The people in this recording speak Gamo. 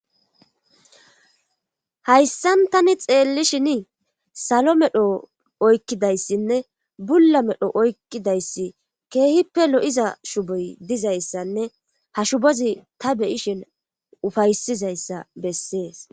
hayssan tani xeellishinii salo medho oykkidayssinne bulla medho oykkidayssi keehippe lo7iza shuboy dizayssanne ha shubozi ta beyishin ufaysizayssa bessees